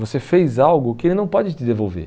Você fez algo que ele não pode te devolver.